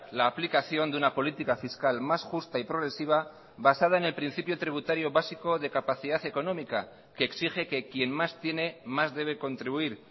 la aplicación de una política fiscal más justa y progresiva basada en el principio tributario básico de capacidad económica que exige que quien más tiene más debe contribuir